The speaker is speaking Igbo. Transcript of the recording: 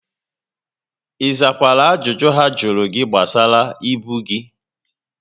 ị zakwara ajụjụ ha jụrụ gị gbasara ibu gị?